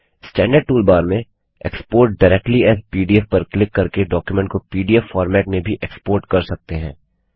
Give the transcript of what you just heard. standard tool bar में export directly as PDF पर click करके डॉक्युमेंट को पीडीएफ फॉर्मेट में भी एक्सपोर्ट कर सकते हैं